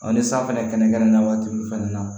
ni san fɛnɛ kɛnɛkɛn na waati min fɛnɛ na